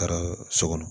Taara so kɔnɔ